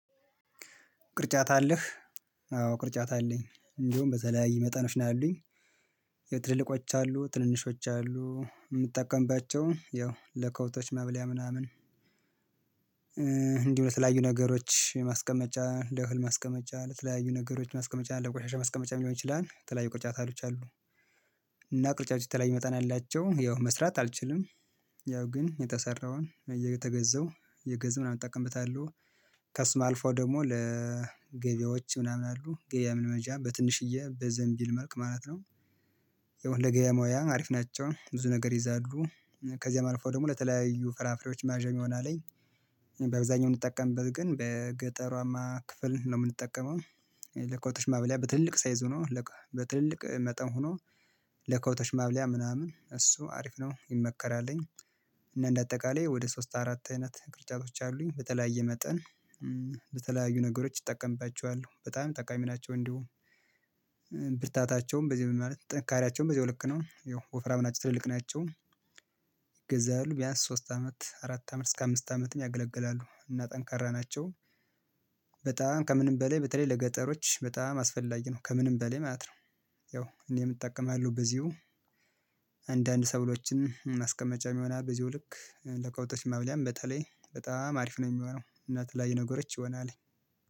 ቅርጫት አለህ? አዎ ቅርጫት አለኝ እንዲሁም በተለያዩ መጠኖች ያሉኝ። የትልልቆች አሉ ትንንሾች አሉ የምትጠቀምባቸው ያው ለከብቶች መብለያ ምናምን። እንዲሁ ለተለያዩ ነገሮች ማስቀመጫ ለእህል ማስቀመጫ ለተለያዩ ነገሮች ማስቀመጫ አለ ቆሻሻ ማስቀመጫ ሊሆን ይችላል ተለያዩ ቆርጫታሎች አሉ። እና ቆርጫቶች የተለያዩ መጠን አላቸው ያው መስራት አልችልም። ያው ግን የተሰራውን እየተገዛው እየገዛው ምናምን እጠቀምበታለሁ። ከስም አልፎ ደግሞ ለገበያዎች ምናምን አሉ ገበያ ለመግዣ በትንሽዬ በዘንቢል መልክ ማለት ነው። የሆነ ለገበያ ሙያ አሪፍ ናቸው ብዙ ነገር ይይዛሉ። ከዚያም አልፎ ደግሞ ለተለያዩ ፍራፍሬዎች ማያዣ የሚሆን አለኝ። በአብዛኛው የምንጠቀምበት ግን በገጠሯማ ክፍል ነው የምንጠቀመው። ለከብቶች ማብሊያ በትልልቅ ሳይዞ ሆኖ በትልልቅ መጠን ሆኖ ለከብቶች ማብሊያ ምናምን እሱ አሪፍ ነው ይመከራልኝ። እና እንደ አጠቃላይ ወደ ሶስት አራት አይነት ቅርጫቶች አሉኝ በተለያየ መጠን በተለያዩ ነገሮች ይጠቀምባቸዋል በጣም ጠቃሚ ናቸው እንዲሁም። ብርታታቸውም በዚህ ምን ማለት ጥንካሬያቸውም በዚያዊ ልክ ነው ወፍራም ናቸው ትልልቅ ናቸው። ይገዛሉ ቢያንስ ሶስት አመት አራት አመት እስከ አምስት አመትም ያገለገላሉ እና ጠንካራ ናቸው። በጣም ከምንም በላይ በተለይ ለገጠሮች በጣም አስፈላጊ ነው ከምንም በላይ ማለት ነው። ያው እኔም እጠቀማለሁ በዚሁ። አንዳንድ ሰብሎችንም ማስቀመጫም ይሆናል በዚሁ ልክ ለከብቶች ማብሊያም በተለይ በጣም አሪፍ ነው የሚሆነው እና የተለያዩ የነገሮች ይሆናልኝ